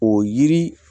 O yiri